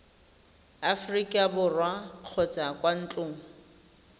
aforika borwa kgotsa kwa ntlong